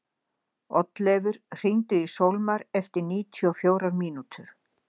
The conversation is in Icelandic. Oddleifur, hringdu í Sólmar eftir níutíu og fjórar mínútur.